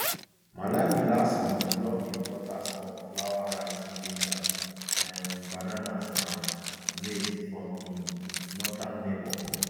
malawi last month block imports of flour rice ginger um bananas and maize from im northern neighbour